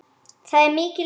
Þar er mikil umferð.